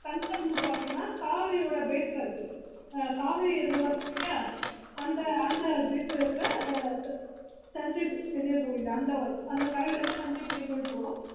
humpi வந்து பாத்தீங்கன்னா ஓடி ல இருக்கு